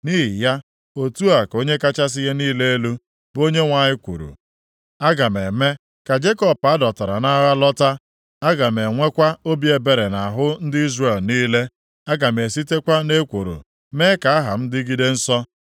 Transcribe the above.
“Nʼihi ya, otu a ka Onye kachasị ihe niile elu, bụ Onyenwe anyị kwuru, Aga m eme ka Jekọb a dọtara nʼagha lọta. Aga m enwekwa obi ebere nʼahụ ndị Izrel niile. Aga m esitekwa nʼekworo mee ka aha m dịgide nsọ.